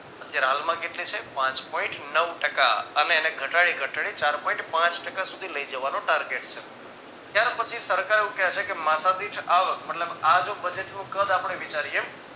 અત્યારે હાલમાં કેટલી છે પાંચ point નવ ટકા અને એને ઘટાડી ઘટાડીને ચાર point પાંચ ટકા સુધી લઈ જવાનો target છે. ત્યાર પછી સરકાર એવું કે છે કે માથાદીઠ આવક મતલબ આ જો budget નું કદ આપણે વિચારીએ